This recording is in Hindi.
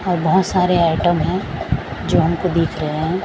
और बहोत सारे आइटम है जो हमको दिख रहे--